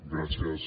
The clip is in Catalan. gràcies